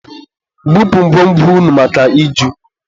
Bupu ngwo ngwo unu maka iju!